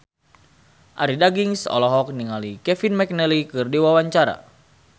Arie Daginks olohok ningali Kevin McNally keur diwawancara